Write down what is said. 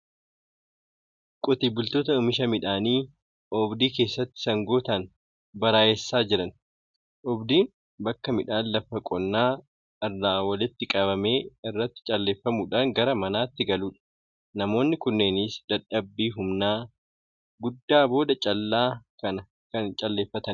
Qotee bultoota oomisha midhaanii oobdii keessatti sangootaan baraayessaa jiran. Oobdiin bakka midhaan lafa qonnaa irraa walitti qabame irratti calleeffamuudhaan gara manaatti galudha. Namoonni kunneenis dadhabbii humnaa guddaa booda callaa kana kan calleeffatanidha.